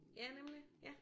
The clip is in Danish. Ja nemlig ja